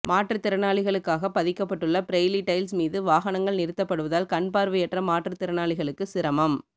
மாற்றுத்திறனாளிகளுக்காக பதிக்கப்பட்டுள்ள Braille tiles மீது வாகனங்கள் நிறுத்தப்படுவதால் கண்பார்வையற்ற மாற்றுத்திறனாளிகளுக்கு சிரமம்